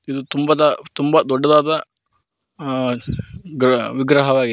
ಇದು ತುಂಬದ ತುಂಬ ದೊಡ್ಡದಾದ ಆ ಗ್ರಹ ವಿಗ್ರಹವಾಗಿದೆ.